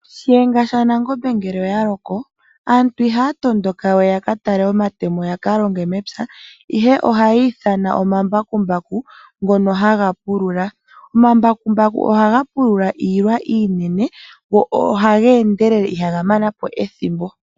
Shiyenga shaNangombe ngele oya loko aantu ihaya tondoka we yakatale omatemo yakalonge mepya ihe ohaya ithana omambakumbaku ngono haga pulula. Omambakumbaku ohaga pulula iilwa iinene go ohaga endelele ihaga manapo ethimbo.